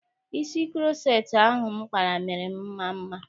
Isi kuroceti ahụ m kpara mere m maa mma.